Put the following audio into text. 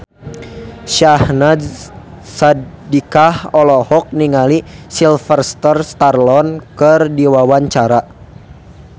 Syahnaz Sadiqah olohok ningali Sylvester Stallone keur diwawancara